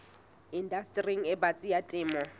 indastering e batsi ya temo